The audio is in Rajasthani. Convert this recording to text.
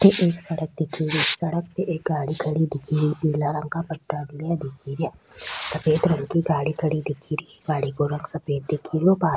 अठे एक सड़क दिखेरी सड़क पे एक गाड़ी खड़ी दिखे री नीला रंग का पट्टा लगा दिखेरिया सफ़ेद रंग की गाड़ी खड़ी दिखे री गाड़ी को रंग सफ़ेद दिखेरो --